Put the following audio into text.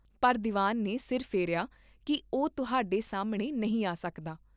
ਪਰ ਦੀਵਾਨ ਨੇ ਸਿਰ ਫੇਰਿਆ ਕੀ ਓਹ ਤੁਹਾਡੇ ਸਾਹਮਣੇ ਨਹੀਂ ਆ ਸਕਦਾ।